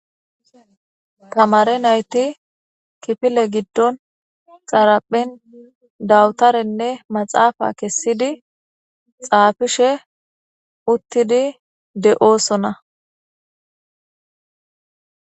tamare nayti kipile giddon xaraphen dawutarenne maxaafa kessidi xaafishe uttidi de7oosona